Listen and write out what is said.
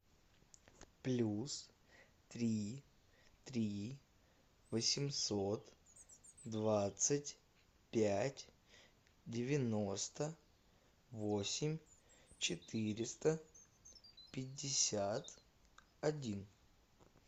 плюс три три восемьсот двадцать пять девяносто восемь четыреста пятьдесят один